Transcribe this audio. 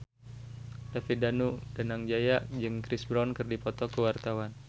David Danu Danangjaya jeung Chris Brown keur dipoto ku wartawan